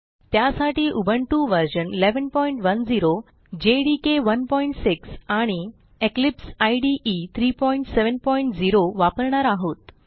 त्यासाठी उबुंटू व्ह 1110 जेडीके 16 आणि इक्लिपसाइड 370 वापरणार आहोत